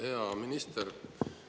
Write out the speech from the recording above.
Hea minister!